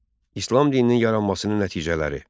İslam dininin yaranmasının nəticələri.